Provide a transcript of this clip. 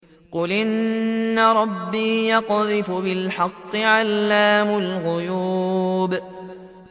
قُلْ إِنَّ رَبِّي يَقْذِفُ بِالْحَقِّ عَلَّامُ الْغُيُوبِ